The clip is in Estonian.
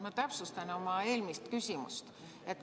Ma täpsustan oma eelmist küsimust.